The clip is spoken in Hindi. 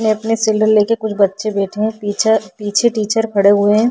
ये अपने लेकर कुछ बच्चे बैठे हैं पीछे पीछे टीचर खड़े हुए हैं।